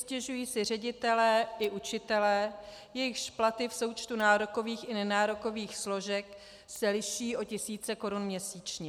Stěžují si ředitelé i učitelé, jejichž platy v součtu nárokových i nenárokových složek se liší o tisíce korun měsíčně.